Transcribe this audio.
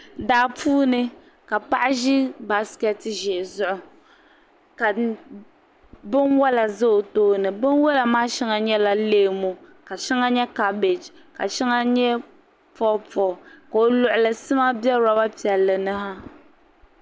Daa puuni ka paɣa ʒi baasiketi ʒee zuɣu ka binwola za o tooni binwola maa sheŋa nyɛla leemu ka sheŋɔ nyɛla kabaji ka sheŋa nyɛ poopoo ka o luɣuli sima biɛ loba piɛlli ni ha.